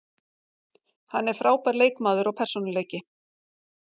Hann er frábær leikmaður og persónuleiki.